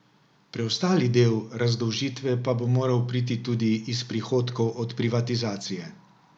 Preostali del razdolžitve pa bo moral priti tudi iz prihodkov od privatizacije.